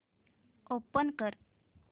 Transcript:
open कर